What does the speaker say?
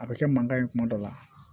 A bɛ kɛ mankan ye kuma dɔ la